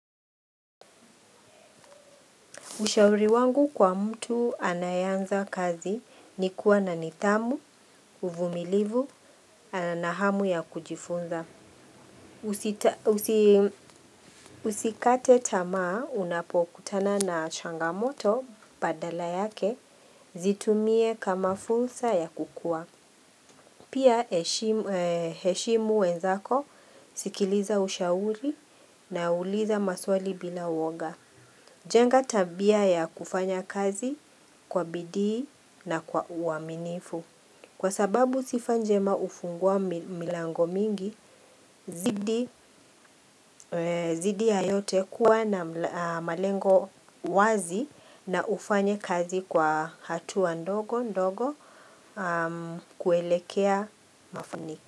Ushauri wangu kwa mtu anayeanza kazi ni kuwa na nidhamu, uvumilivu, anahamu ya kujifunza. Usikate tamaa unapokutana na changamoto badala yake zitumie kama fursa ya kukua. Pia heshimu wenzako, sikiliza ushauri na uliza maswali bila uoga. Jenga tabia ya kufanya kazi kwa bidii na kwa uaminifu. Kwa sababu sifa njema ufungua milango mingi, zidi ya yote kuwa na malengo wazi na ufanye kazi kwa hatua ndogo kuelekea mafuniki.